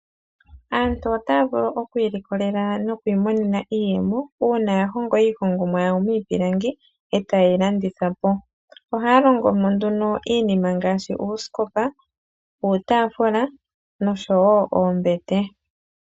Aantu otaya vulu oku ilikolela nokwi monena iiyemo una ya hongo iihongomwa yawo miipilangi eta ye yi landithapo. Oha ya longomo iinima ngashi uuskopa, uutafula oshowo oombete.